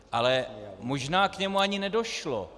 Ale možná k němu ani nedošlo.